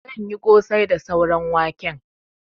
Zan yi ƙosai da sauran waken.